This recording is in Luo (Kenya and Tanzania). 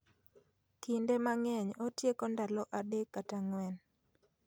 Kinde mang'eny otieko ndalo adek kata ang'wen